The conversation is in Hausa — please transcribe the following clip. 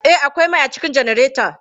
Eh, akwai mai a cikin janareta.